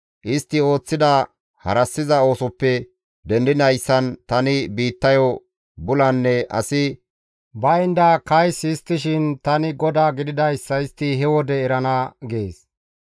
Istti ooththida harassiza oosoppe dendidayssan tani biittayo bulanne asi baynda kays histtishin tani GODAA gididayssa istti he wode erana› gees.